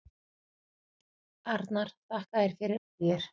Arnar: Þakka þér fyrir Ægir.